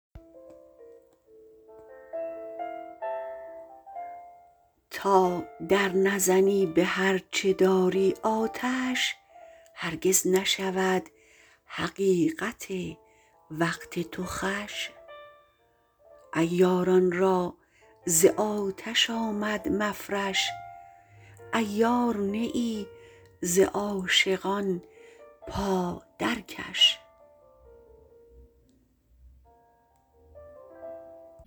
تا در نزنی بهر چه داری آتش هرگز نشود حقیقت وقت تو خوش عیاران را ز آتش آمد مفرش عیار نه ای ز عاشقان پا درکش